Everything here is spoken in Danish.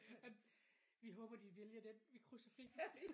Vi håber de vælger dén vi krydser fingrer